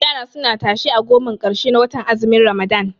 Yara suna tashe a gomar ƙarshe na watan azumin ramadan